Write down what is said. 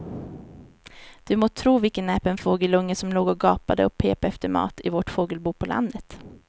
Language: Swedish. Du må tro vilken näpen fågelunge som låg och gapade och pep efter mat i vårt fågelbo på landet.